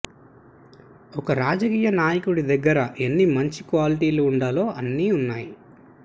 ఒక రాజకీయ నాయకుడి దగ్గర ఎన్ని మంచి క్వాలిటీలు ఉండాలో అన్ని ఉన్నాయి